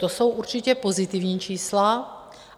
To jsou určitě pozitivní čísla.